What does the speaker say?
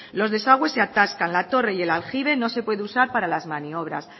los desagües se atascan la torre y el aljibe no se puede usar para las maniobras